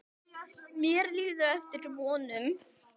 Mér líður eftir vonum.